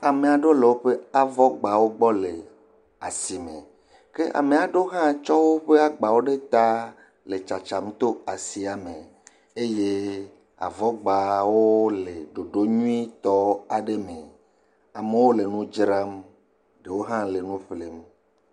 Ame aɖewo le avɔgbawo gbɔ le asime, kea me aɖewo hã tsɔ woƒe agbawo ɖe ta le tsatsam to asia me, eye avɔgbawo le ɖoɖo nyuitɔ aɖe me, amewo le dzram ɖewo le nu ƒlem.